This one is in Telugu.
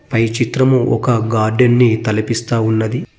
పై చిత్రము ఒక గార్డెన్ ని తలపిస్తా ఉన్నది.